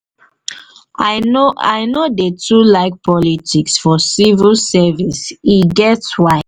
i no dey too like politics for civil service e get why.